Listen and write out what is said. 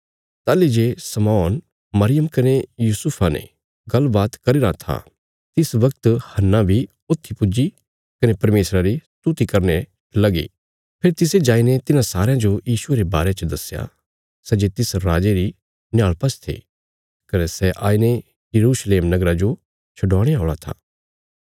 ताहली जे शमौन मरियम कने यूसुफा ने गल्लबात करी रां था तिस बगत हन्नाह बी ऊथी पुज्जी कने परमेशरा री स्तुति करने लगी फेरी तिसे जाईने तिन्हां सारयां जो यीशुये रे बारे च दस्या सै जे तिस राजे री निहाल़पा च थे कने सै आईने यरूशलेम नगरा जो छडवाणे औल़ा था